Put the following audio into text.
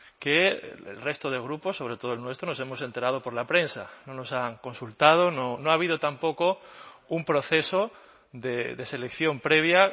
que el resto de grupos sobre todo el nuestro nos hemos enterado por la prensa no nos han consultado no ha habido tampoco un proceso de selección previa